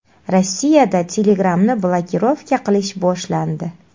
Rossiyada Telegram’ni blokirovka qilish boshlandi.